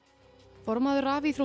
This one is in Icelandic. formaður